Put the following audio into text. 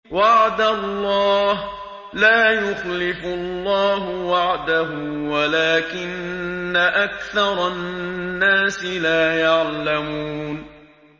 وَعْدَ اللَّهِ ۖ لَا يُخْلِفُ اللَّهُ وَعْدَهُ وَلَٰكِنَّ أَكْثَرَ النَّاسِ لَا يَعْلَمُونَ